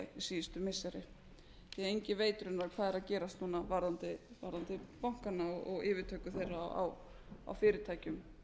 síðustu missiri því enginn veit raunverulega hvað er að gerast núna varðandi bankana og yfirtöku þeirra á fyrirtækjum